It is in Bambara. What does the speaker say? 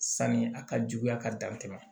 Sanni a ka juguya ka dan tɛmɛn